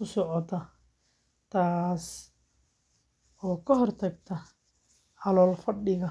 u socota, taasoo ka hortagta calool-fadhiga.